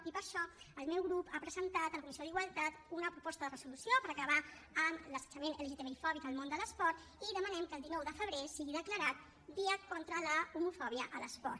i per això el meu grup ha presentat a la comissió d’igualtat una proposta de resolució per acabar amb l’assetjament lgtbifòbic al món de l’esport i demanem que el dinou de febrer sigui declarat dia contra l’homofòbia a l’esport